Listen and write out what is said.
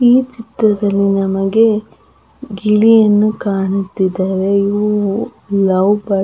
ಈ ಚಿತ್ರದಲ್ಲಿ ನಮಗೆ ಗಿಳಿಯನ್ನು ಕಾಣುತಿದ್ದವೇ ಇವು ಲವ್ ಬರ್ಡ್ -